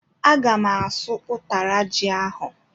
Agam asụ utara ji ahú.